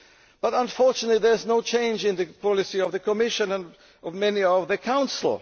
But unfortunately there is no change in the policy of the Commission and of many of the Council.